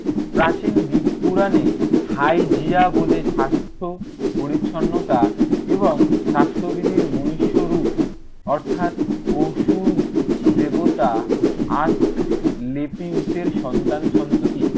প্রাচীন দ্বীপ পুরানে hygeia বলে স্বাস্থ্য পরিচ্ছন্নতা এবং স্বাস্থ্যবিধির মনীষ্য রূপ অর্থাৎ, ওষুধ দেবতা লেটিউসের সন্তানসন্ততি